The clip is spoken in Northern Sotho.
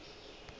gore ga go yo a